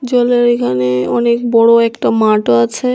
জলের এখানে অনেক বড় একটা মাঠও আছে।